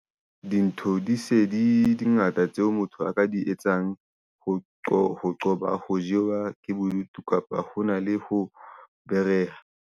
Dintho di se di, di ngata tseo motho a ka di etsang ho qoba ho qoba ho jewa ke bodutu kapa ho na le ho .